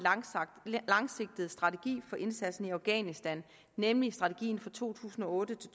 langsigtet strategi for indsatsen i afghanistan nemlig strategien for to tusind og otte